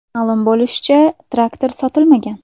Ma’lum bo‘lishicha, traktor sotilmagan.